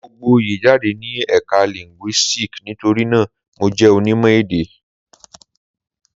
Mo gboyè jáde ní Ẹ̀ka Linguistics nítorí náà, Mo jẹ́ onímọ̀-èdè.